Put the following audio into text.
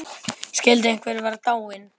Skyldi einhver vera dáinn?